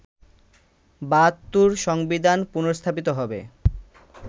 ৭২’র সংবিধান পুনর্স্থাপিত হবে